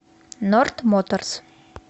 норд моторс